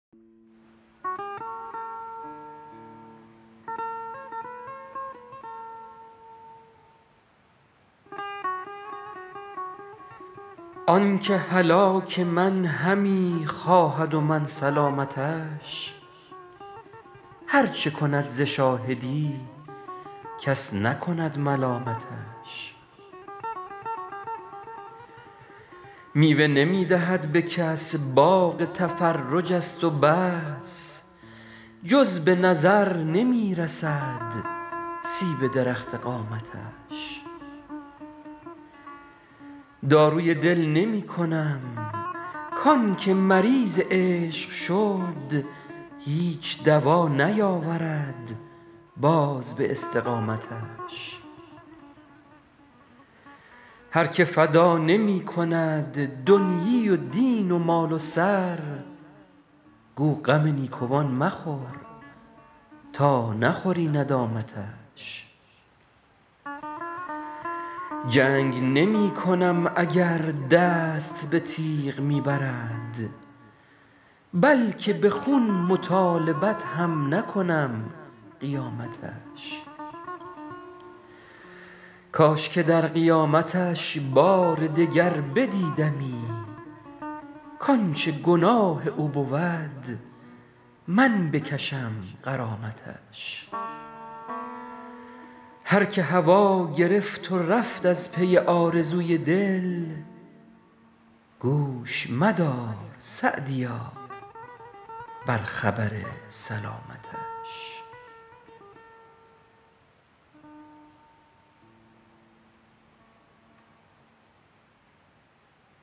آن که هلاک من همی خواهد و من سلامتش هر چه کند ز شاهدی کس نکند ملامتش میوه نمی دهد به کس باغ تفرج است و بس جز به نظر نمی رسد سیب درخت قامتش داروی دل نمی کنم کان که مریض عشق شد هیچ دوا نیاورد باز به استقامتش هر که فدا نمی کند دنیی و دین و مال و سر گو غم نیکوان مخور تا نخوری ندامتش جنگ نمی کنم اگر دست به تیغ می برد بلکه به خون مطالبت هم نکنم قیامتش کاش که در قیامتش بار دگر بدیدمی کانچه گناه او بود من بکشم غرامتش هر که هوا گرفت و رفت از پی آرزوی دل گوش مدار _سعدیا- بر خبر سلامتش